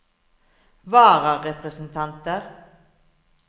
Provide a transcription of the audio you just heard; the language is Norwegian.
vararepresentanter